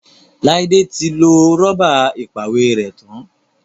Laide tí lọ Rọ́bà ìpàwérẹ́ tán.